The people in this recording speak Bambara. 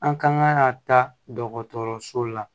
An kan ka taa dɔgɔtɔrɔso la